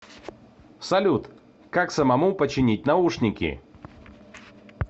салют как самому починить наушники